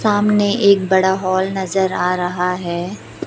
सामने एक बड़ा हॉल नजर आ रहा है।